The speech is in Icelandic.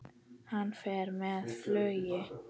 Hann fer með flugi.